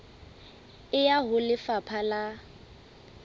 e ya ho lefapha la